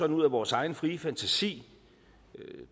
ud af vores egen frie fantasi